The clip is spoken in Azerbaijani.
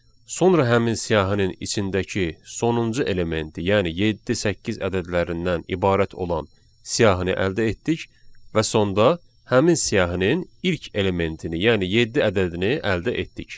Sonra həmin siyahının içindəki sonuncu elementi, yəni yeddi-səkkiz ədədlərindən ibarət olan siyahını əldə etdik və sonda həmin siyahının ilk elementini, yəni yeddi ədədini əldə etdik.